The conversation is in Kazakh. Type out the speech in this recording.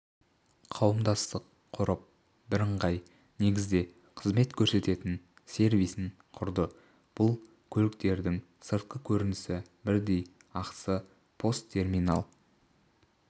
қауымдастық құрып бірыңғай негізде қызмет көрсететін сервисін құрды бұл көліктердің сыртқы көрінісі бірдей ақысы постерминал